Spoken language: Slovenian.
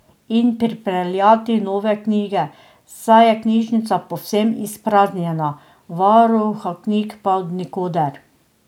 In pripeljati nove knjige, saj je knjižnica povsem izpraznjena, varuha knjig pa od nikoder.